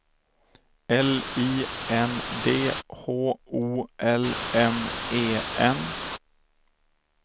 L I N D H O L M E N